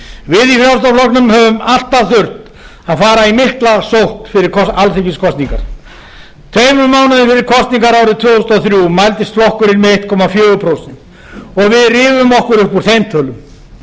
við í frjálslynda flokknum höfum alltaf þurft að fara í mikla sókn fyrir alþingiskosningar tveimur mánuðum fyrir kosningarnar árið tvö þúsund og þrjú mældist flokkurinn með einum komma fjögur prósent og við rifum okkur upp úr þeim tölum